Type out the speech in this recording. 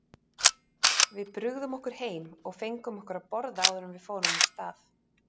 Við brugðum okkur heim og fengum okkur að borða áður en við fórum af stað.